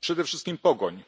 Przede wszystkim pogoń,